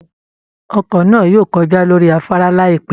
Ọkọ̀ ńáà yóò kọjá lórí afárá láìpẹ́